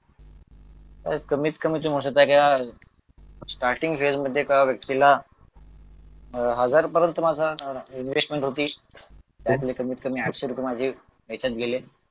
कमीत कमी स्टार्टिंग खेळ मध्ये एका व्यक्तीला अह हजार पर्यंत माझ्या इन्व्हेस्टमेंट होती त्यातले कमीत कमी आठशे रुपये माझे याच्यात गेले